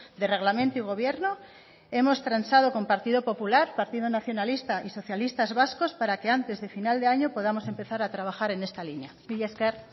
de reglamento y gobierno hemos transado con partido popular partido nacionalista y socialistas vascos para que antes de final de año podamos empezar a trabajar en esta línea mila esker